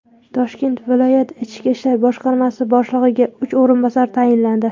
Toshkent viloyati Ichki ishlar boshqarmasi boshlig‘iga uch o‘rinbosar tayinlandi.